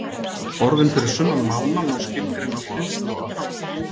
Orðin fyrir sunnan mána má skilgreina á hliðstæðan hátt.